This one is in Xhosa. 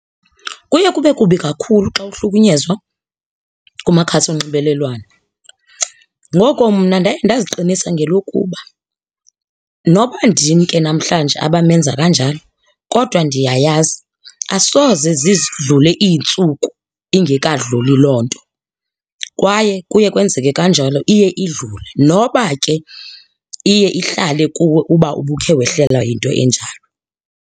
Kuye kube kubi kakhulu xa uhlukunyezwa kumakhasi onxibelelwano. Ngoko mna ndaye ndaziqinisa ngelokuba noba ndim ke namhlanje abamenza kanjalo kodwa ndiyayazi asoze zidlulile iintsuku ingekadluli loo nto, kwaye kuye kwenzeke kanjalo iye idlule, noba ke iye ihlale kuwe uba ubukhe wehlelwa yinto enjalo.